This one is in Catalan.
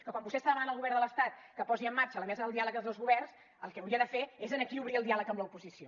que quan vostè està demanant al govern de l’estat que posi en marxa la mesa del diàleg dels dos governs el que hauria de fer aquí és obrir el diàleg amb l’oposició